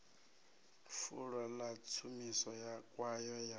fulo ḽa tshumiso kwayo ya